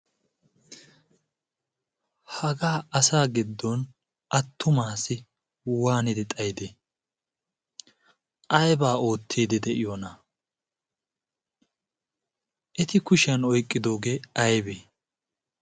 hagaa asa giddon attumaassi waanidi xaidee? aibaa oottidi de7iyoona? eti kushiyan oiqqidoogee aibee?